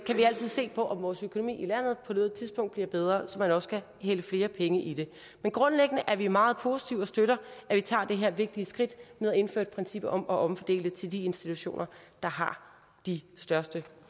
kan vi altid se på om vores økonomi i landet på noget tidspunkt bliver bedre så man også kan hælde flere penge i det men grundlæggende er vi meget positive og støtter at vi tager det her vigtige skridt med at indføre et princip om at omfordele til de institutioner der har de største